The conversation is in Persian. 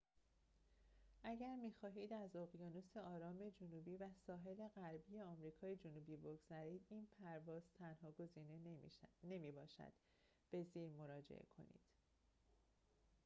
اگر می‌خواهید از اقیانوس آرام جنوبی و ساحل غربی آمریکای جنوبی بگذرید، این پرواز تنها گزینه نمی‌باشد. به زیر مراجعه کنید